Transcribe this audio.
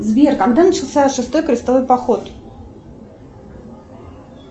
сбер когда начался шестой крестовый поход